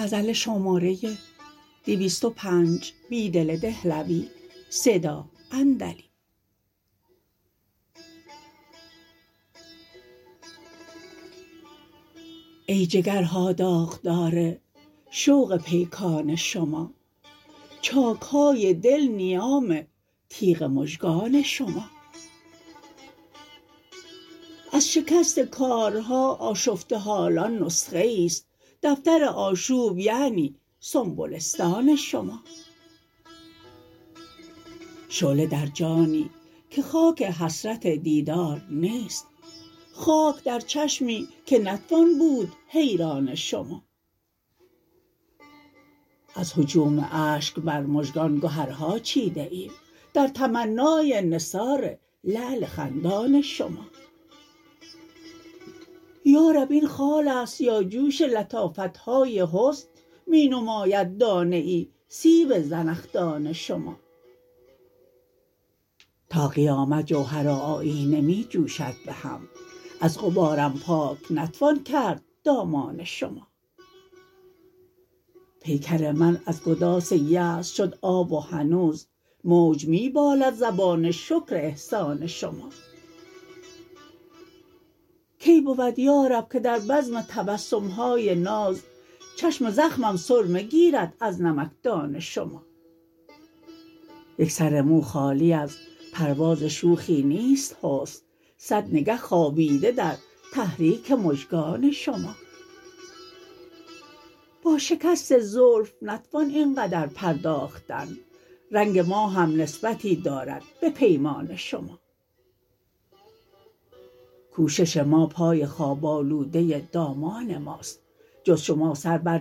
ای جگرها داغدا ر شوق پیکان شما چاک های دل نیام تیغ مژگان شما از شکست کارها آشفته حالان نسخه ای ست دفتر آشوب یعنی سنبلستان شما شعله در جانی که خاک حسرت دیدار نیست خاک در چشمی که نتوان بود حیران شما از هجوم اشک بر مژگان گهرها چیده ایم در تمنای نثار لعل خندان شما یارب ا ین خال است یا جوش لطافت های حسن می نماید دانه ای سیب زنخدان شما تا قیامت جوهر و آیینه می جوشد به هم از غبارم پاک نتوان کرد دامان شما پیکر من از گداز یأس شد آب و هنوز موج می بالد زبان شکر احسان شما کی بود یارب که در بزم تبسم های ناز چشم زخمم سرمه گیرد از نمکدان شما یک سر مو خالی از پرواز شوخی نیست حسن صد نگه خوابیده در تحریک مژگان شما با شکست زلف نتوان اینقدر پرداختن رنگ ما هم نسبتی دارد به پیمان شما کوشش ما پای خواب آلوده دامان ماست جز شما سر بر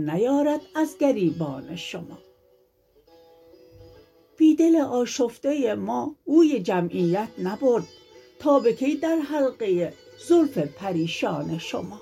نیارد از گریبان شما بیدل آشفته ما بوی جمعیت نبرد تا به کی در حلقه زلف پریشان شما